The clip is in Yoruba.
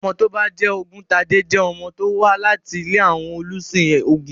Ọmọ tó bá ń jẹ́ Ògúntade jẹ́ ọmọ tó wà láti ilé àwọn olùsìn ògún.